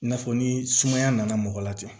I n'a fɔ ni sumaya nana mɔgɔ la ten